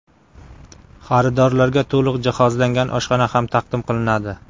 Xaridorlarga to‘liq jihozlangan oshxona ham taqdim qilinadi.